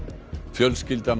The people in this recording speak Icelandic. fjölskylda